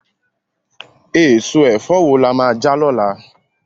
Èso ẹ̀fọ́ wo la máa jẹ lọ́la?